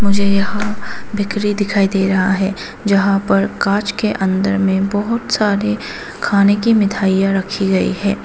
मुझे यहां बेकरी दिखाई दे रहा है जहां पर कांच के अंदर में बहोत सारे खाने की मिठाइयां रखी गई है।